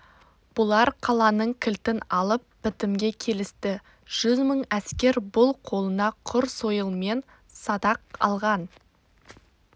бұлар қаланың кілтін алып бітімге келісті жүз мың әскер бұл қолына құр сойыл мен садақ алған